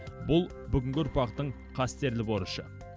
бұл бүгінгі ұрпақтың қастерлі борышы